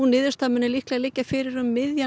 niðurstaðan muni liggja fyrir um miðjan